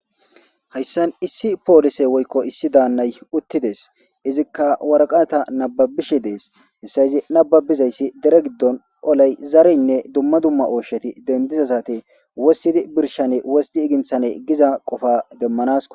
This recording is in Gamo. hayssan issi poolise woykko issi daannay uttides izikka warqata nababishe dees hessa yizi nababizayssi dire giddon olay zareynne dumma dumma oosheti dendizasati wossidi birshane wosti iginthane giza qofa demmanasko